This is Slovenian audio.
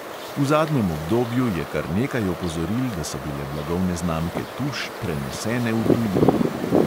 V zadnjem obdobju je kar nekaj opozoril, da so bile blagovne znamke tuš prenesene v tujino.